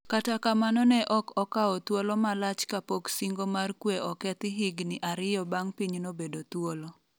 kata kamano ne ok okawo thuolo malach ka pok singo mar kwe okethi higni ariyo bang' pinyno bedo thuolo